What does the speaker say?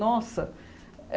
Nossa!